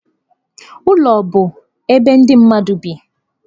Ụlọ bụ ebe ndị mmadụ bi.